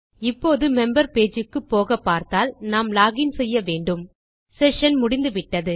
இப்போது member page க்கு போகப்பார்த்தால் நாம் லாக் இன் செய்ய வேண்டும் செஷன் முடிந்துவிட்டது